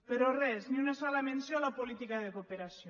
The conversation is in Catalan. però res ni una sola menció a la política de cooperació